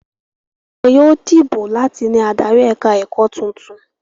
Wọn yóò dìbò láti ní adarí ẹ̀ka-ẹ̀kọ́ tuntun.